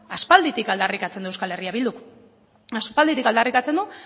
aspalditik aldarrikatzen du euskal herria bilduk aspalditik aldarrikatzen du